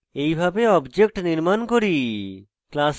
এইভাবে object নির্মাণ করি